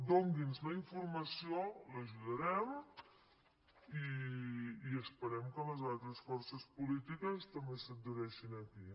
doni’ns la informació l’ajudarem i esperem que les altres forces polítiques també s’adhereixin aquí